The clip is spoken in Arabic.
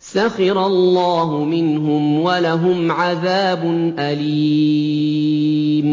سَخِرَ اللَّهُ مِنْهُمْ وَلَهُمْ عَذَابٌ أَلِيمٌ